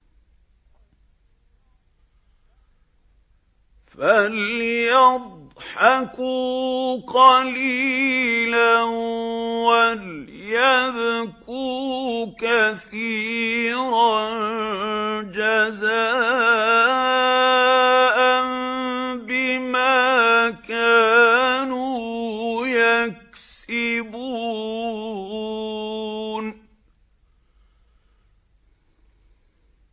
فَلْيَضْحَكُوا قَلِيلًا وَلْيَبْكُوا كَثِيرًا جَزَاءً بِمَا كَانُوا يَكْسِبُونَ